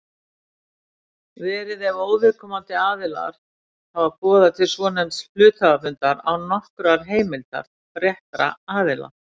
verið ef óviðkomandi aðilar hafa boðað til svonefnds hluthafafundar án nokkurrar heimildar réttra aðila.